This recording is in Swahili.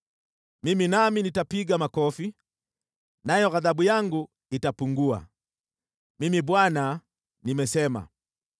Mimi nami nitapiga makofi, nayo ghadhabu yangu itapungua. Mimi Bwana nimesema.”